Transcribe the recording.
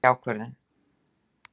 Ég hef tekið ákvörðun!